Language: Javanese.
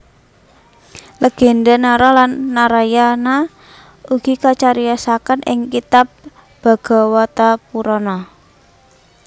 Legénda Nara lan Narayana ugi kacariyosaken ing kitab Bhagawatapurana